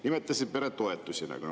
Nimetasite peretoetusi.